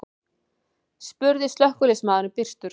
spurði slökkviliðsmaðurinn byrstur.